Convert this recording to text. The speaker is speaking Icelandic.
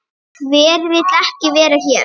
Hver vill ekki vera hér?